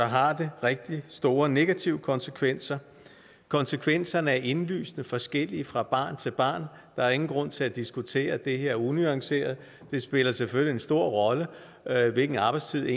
har det rigtig store negative konsekvenser konsekvenserne er indlysende forskellige fra barn til barn der er ingen grund til at diskutere det her unuanceret det spiller selvfølgelig en stor rolle hvilken arbejdstid